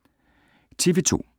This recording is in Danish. TV 2